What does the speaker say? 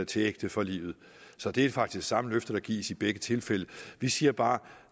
til ægte for livet så det er faktisk det samme løfte der gives i begge tilfælde vi siger bare at